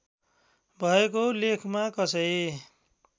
भएको लेखमा कसै